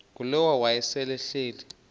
ngulowo wayesel ehleli